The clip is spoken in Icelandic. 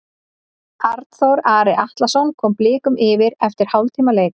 Arnþór Ari Atlason kom Blikum yfir eftir hálftíma leik.